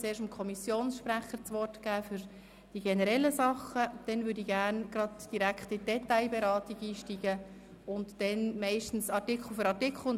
Zuerst hat der Kommissionssprecher das Wort zu den generellen Dingen, danach würde ich gerne direkt in die Detailberatung einsteigen und dort meist artikelweise vorgehen.